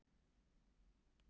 Mér fannst það mjög skemmtilegt.